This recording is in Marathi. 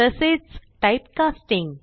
तसेच टाइप कास्टिंग